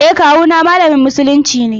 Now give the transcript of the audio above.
E, kawu ma malamin musulunci ne.